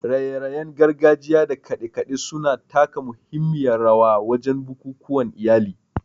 raye-rayen gargajiya da kade-kade su na taka muhimmiyar rawa wajen bukukuwan iyali.